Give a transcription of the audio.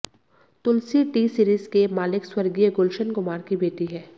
तुलसी T Series के मालिक स्वर्गीय गुलशन कुमार की बेटी हैं